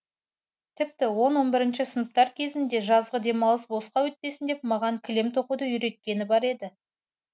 тіпті он он бірінші сыныптар кезінде жазғы демалысым босқа өтпесін деп маған кілем тоқуды үйреткені бар еді